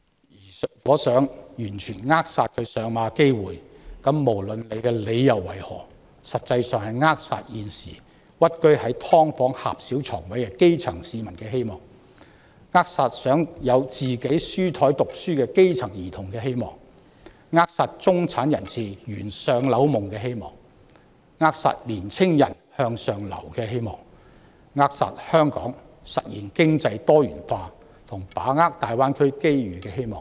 如果反對者想完全扼殺"明日大嶼願景"落實的機會，無論理由為何，實際上是扼殺現時屈居在"劏房"狹小床位的基層市民的希望、扼殺想擁有書桌溫習的基層兒童的希望、扼殺中產人士圓"上樓夢"的希望、扼殺年青人向上流的希望、扼殺香港實現經濟多元化及把握大灣區機遇的希望。